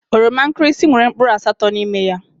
Oroma nkirisi nwèrè mkpụrụ asatọ n'ime ya.